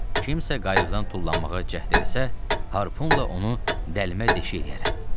Kimsə qayıqdan tullanmağa cəhd eləsə, harpunla onu dəlmə deşik eləyərəm.